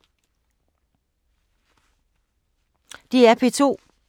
DR P2